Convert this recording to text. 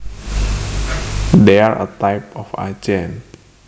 They are a type of agent